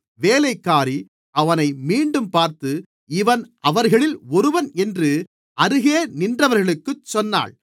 வேலைக்காரி அவனை மீண்டும் பார்த்து இவன் அவர்களில் ஒருவன் என்று அருகே நின்றவர்களுக்குச் சொன்னாள்